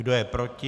Kdo je proti?